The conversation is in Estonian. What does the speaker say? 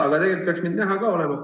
Aga tegelikult peaks mind näha ka olema.